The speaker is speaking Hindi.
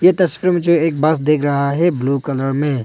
तस्वीर में जो एक बस दिख रहा है ब्लू कलर में।